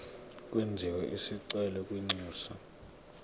kwenziwe isicelo kwinxusa